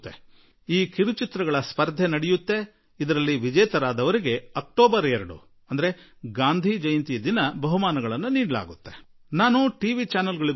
ಈ ಕಿರುಚಿತ್ರಗಳ ಸ್ಪರ್ಧೆ ನಡೆಯುತ್ತದೆ ಹಾಗೂ ಅಕ್ಟೋಬರ್ 2 ಗಾಂಧಿ ಜಯಂತಿಯ ದಿನ ಸ್ಪರ್ಧೆಯಲ್ಲಿ ಗೆದ್ದವರಿಗೆ ಬಹುಮಾನ ಕೊಡಲಾಗುವುದು